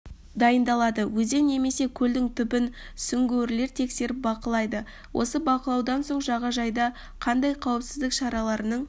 дайындалады өзен немесе көлдің түбін сүңгуірлер тексеріп бақылайды осы бақылаудан соң жағажайда қандай қауіпсіздік шараларының